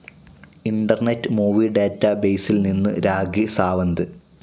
internet movie ഡാറ്റാബേസിൽ നിന്നു രാഖി സാവന്ത്